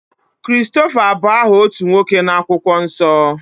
Christopher bú aha otú nwoke na-akwukwo nsọ.